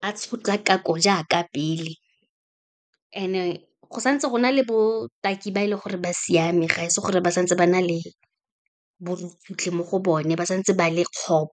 a tshotlakako jaaka pele, and-e go santse go na le botaki ba e leng gore ba siame, ga e se gore ba santse ba na le borukutlhi mo go bone, ba santse ba le kgopo.